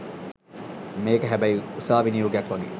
මේක හැබැයි උසාවි නියෝගයක් වගේ